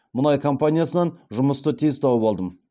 мұнай компаниясынан жұмысты тез тауып алдым